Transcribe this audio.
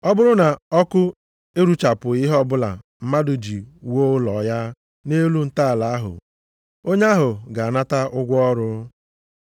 Ọ bụrụ na ọkụ eruchapụghị ihe ọbụla mmadụ ji wuo ụlọ ya nʼelu ntọala ahụ, onye ahụ ga-anata ụgwọ ọrụ.